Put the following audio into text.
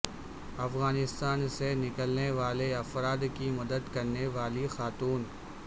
افغانستان سے نکلنے والے افراد کی مدد کرنے والی خاتون